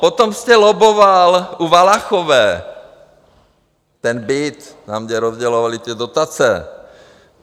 Potom jste lobboval u Valachové, ten byt, tam, kde rozdělovali ty dotace.